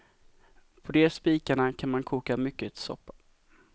På de spikarna kan man koka mycket soppa.